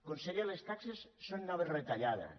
conseller les taxes són noves retallades